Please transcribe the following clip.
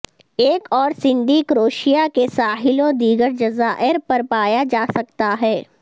ایک اور سینڈی کروشیا کے ساحلوں دیگر جزائر پر پایا جا سکتا ہے